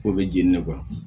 O bɛ jeni